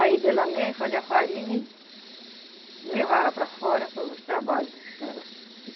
Aí dela mesma fazia a farinha e levava para fora para o trabalho dela.